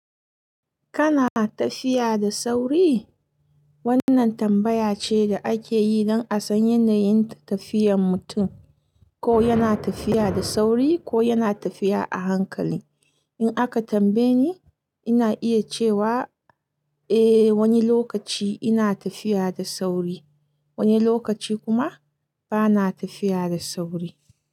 Kana tafiya da sauri? Wannan tambaya ce da ake yi don a san yanayin tafiyan mutum, ko yana tafiya da sauri ko yana tafiya a hankali. In aka tambaye ni, ina iya cewa eh, wani lokaci ina tafiya da sauri, wani lokaci kuma bana tafiya da sauri.